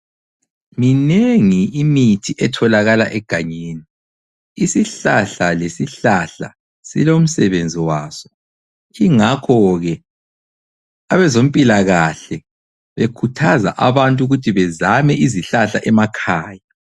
Minengi imithi etholakala egangeni. Isihlahla lesihlahla silomsebenzi waso. Ingakho ke abezempilakahle bekhuthaza abantu ukuthi bezame izihlahla emakhaya.